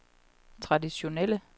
traditionelle